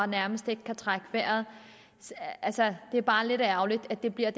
nærmest ikke kan trække vejret det er bare lidt ærgerligt at der bliver